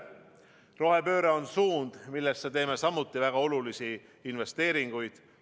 Rohepööre on suund, millesse teeme samuti väga olulisi investeeringuid.